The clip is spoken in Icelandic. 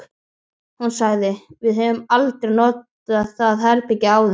Hún sagði: Við höfum aldrei notað það herbergi áður